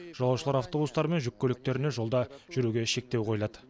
жолаушылар автобустары мен жүк көліктеріне жолда жүруге шектеу қойылады